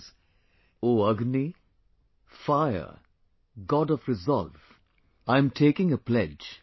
That is, hey Agni, fire, God of resolve, I am taking an oath